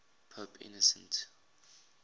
pope innocent